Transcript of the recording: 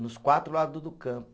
Nos quatro lado do campo.